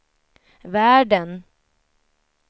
världen